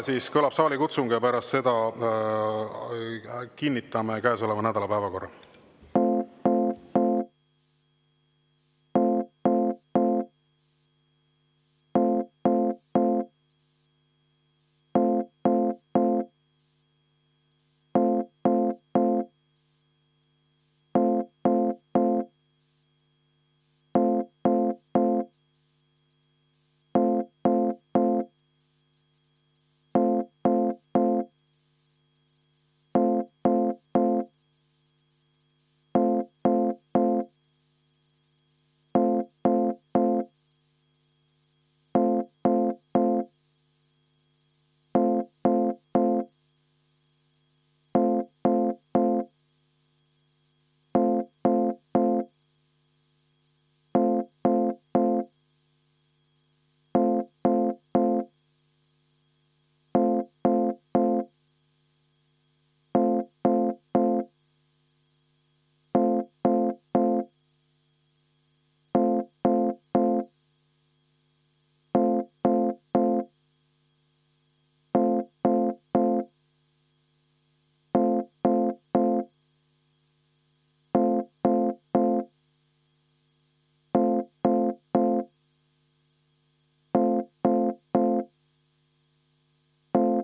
Nüüd kõlab saalikutsung ja pärast seda kinnitame käesoleva nädala päevakorra.